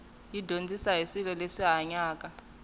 yi dyondzisa hi swilo leswi hanyaka